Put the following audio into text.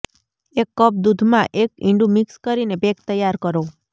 એક કપ દૂધમાં એક ઈંડું મિક્સ કરીને પેક તૈયાર કરો